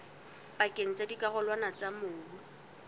pakeng tsa dikarolwana tsa mobu